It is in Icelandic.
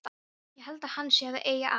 Ég held að hann sé að segja að.